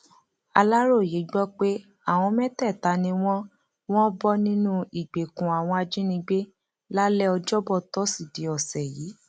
aláròye gbọ pé àwọn mẹtẹẹta ni wọn wọn bọ nínú ìgbèkùn àwọn ajínigbé lálẹ ọjọbọ tọsídẹẹ ọsẹ yìí